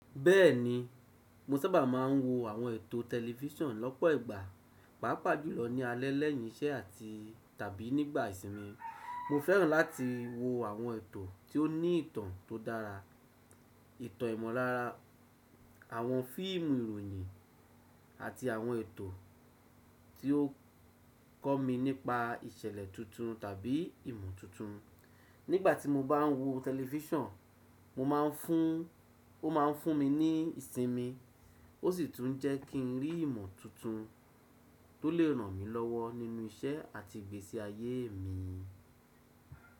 Bẹ́ẹ̀ni, mo sábà máa ń wo àwọn ètò tẹlifíṣàn lọ́pọ̀ ìgbà, pàápàá jùlọ ní alẹ́ lẹ́yìn iṣẹ́ àti tàbí nígbà ìsinmi. Mo fẹ́ràn láti wo àwọn ètò tí ó ní ìtàn tó dára, ìtàn ìmọ̀lára, àwọn fíìmù ìròyìn àti àwọn ètò tí ó kọ́ mi nípa ìṣẹ̀lẹ̀ tuntun tàbí ìmọ̀ tuntun. Nígbà tí mo bá ń wo tẹlifíṣàn, mo máa ń fún ó máa ń fúnmi ní ìsinmi ó sì tún jẹ́ kí n rí ìmọ̀ tuntun tó le ràn mí lọ́wọ́ nínú iṣẹ́ àti ìgbésí ayé mi.